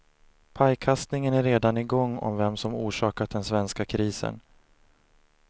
Pajkastningen är redan i gång om vem som orsakat den svenska krisen.